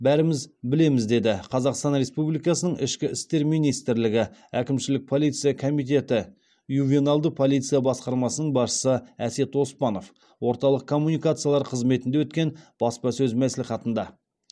бәріміз білеміз деді қазақстан республикасының ішкі істер министрлігі әкімшілік полиция комитеті ювеналды полиция басқармасының басшысы әсет оспанов орталық коммуникациялар қызметінде өткен баспасөз мәслихатында